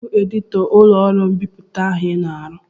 Kedụ onye bụ editọ ụlọọrụ mbipụta ahụ I na-arụ?